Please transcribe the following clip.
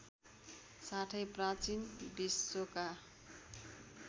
साथै प्राचीन विश्वका